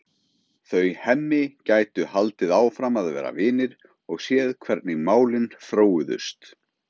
Þau Hemmi gætu haldið áfram að vera vinir og séð hvernig málin þróuðust.